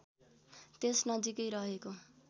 त्यस नजिकै रहेको